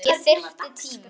Ég þyrfti tíma.